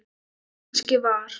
Kannski var